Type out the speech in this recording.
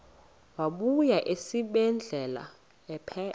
wabuya esibedlela ephethe